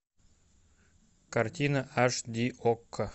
картина аш ди окко